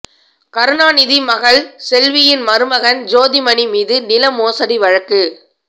கருணாநிதி மகள் செல்வியின் மருமகன் ஜோதிமணி மீது நில மோசடி வழக்கு